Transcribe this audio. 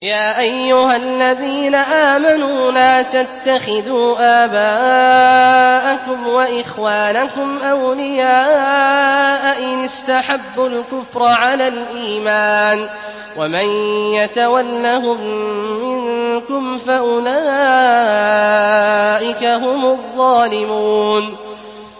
يَا أَيُّهَا الَّذِينَ آمَنُوا لَا تَتَّخِذُوا آبَاءَكُمْ وَإِخْوَانَكُمْ أَوْلِيَاءَ إِنِ اسْتَحَبُّوا الْكُفْرَ عَلَى الْإِيمَانِ ۚ وَمَن يَتَوَلَّهُم مِّنكُمْ فَأُولَٰئِكَ هُمُ الظَّالِمُونَ